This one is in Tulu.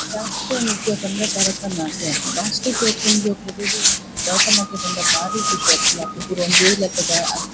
ಶಾಸ್ತ್ರೀಯ ನೃತ್ಯ ಪಂಡ ಭರತನಾಟ್ಯ ಪೊಂಜೋಕುಲೆಗ್ ಭರತನಾಟ್ಯ ಪಂಡ ಬಾರಿ ಖುಷಿ ಆಪುಂಡು ಅಕುಲು ಪೂರ ಒಂಜೆ ಲೆಕದ ಅಂಗಿ.